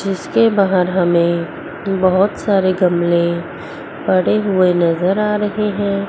जिसके बगैर हमे बहोत सारे गमले पड़े हुए नजर आ रहे है।